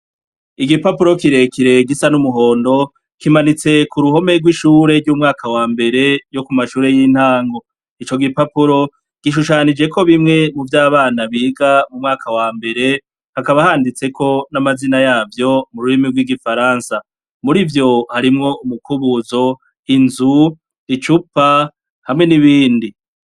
Igipapuro kirekire gisa n'umuhondo, kimanitse ku ruhome rw'ishure ry'umwaka wa mbere ryo ku mashure y'intango. Ico gipapuro, gishushanijeko bimwe muvyo abana biga mu mwaka wambere, hakaba handitseko n'amazina yavyo mu rurimi rw'igifaransa. Muri vyo harimwo umukubuzo, inzu, icupa, hamwe n'ibindi.